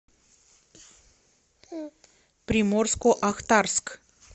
приморско ахтарск